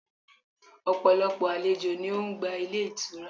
Ọ̀pọ̀lọpọ̀ àlejò ni o n gba Ilé itura